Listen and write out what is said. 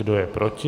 Kdo je proti?